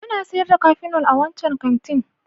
Ana sayar da Kafinol a wancan kantin